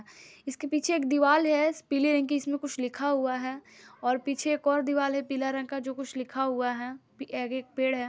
इसके पीछे एक दीवाल है पीले रंग की इसमें कुछ लिखा हुआ है और पीछे एक और दीवाल पीला रंग का जो कुछ लिखा हुआ है पि आगे एक पेड़ है।